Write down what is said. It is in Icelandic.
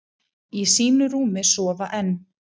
Í sínu rúmi sofa enn,